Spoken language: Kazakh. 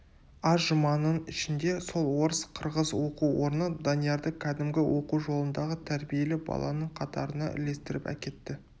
аз жұманың ішінде сол орыс-қырғыз оқу орны даниярды кәдімгі оқу жолындағы тәрбиелі баланың қатарына ілестіріп әкетті